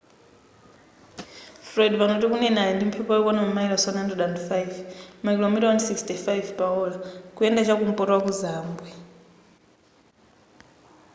fred pano tikunena ali ndi mphepo yokwana mamayilosi 105 makilomita 165 pa ola kuyenda chakumpoto waku zambwe